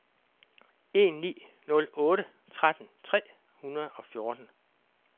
en ni nul otte tretten tre hundrede og fjorten